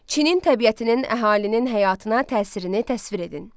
Çinin təbiətinin əhalinin həyatına təsirini təsvir edin.